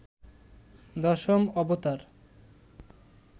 দশম অবতার